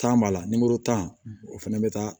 Tan b'a la tan o fɛnɛ be taa